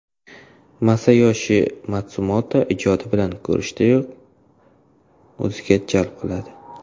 Masayoshi Matsumoto ijodi bir ko‘rishdayoq o‘ziga jalb qiladi.